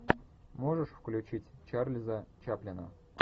можешь включить чарльза чаплина